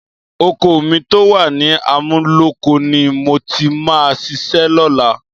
Oko mi tó wà ní Amúlóko ni mo ti máa ṣiṣẹ́ lọ́la